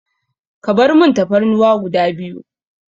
Ka barmun Tafarnuwa guda biyu.